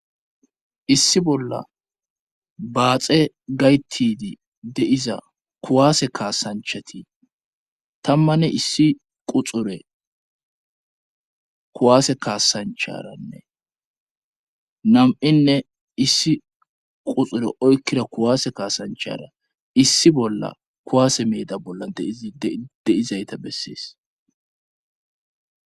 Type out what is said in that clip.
issi bolla baaxe gaytidi deiza kuwaase kaasanchati tammanne issi quxure kuwaase kaasancharanne nam7inne issi quxure oykkira kuwaase kaasanchara issi bolla kuwaase meeda bolla dizi deizayta bessees